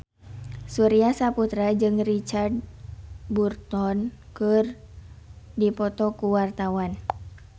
Surya Saputra jeung Richard Burton keur dipoto ku wartawan